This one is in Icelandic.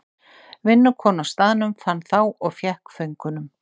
Vinnukona á staðnum fann þá og fékk föngunum.